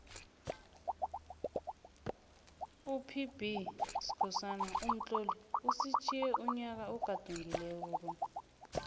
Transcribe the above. upbskhosana umtloli usitjhiye unyaka ogadungako lo